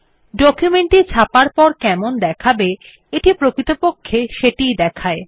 document টি ছাপার পর কেমন দেখাবে এটি প্রকৃতপক্ষে সেটি ই দেখায়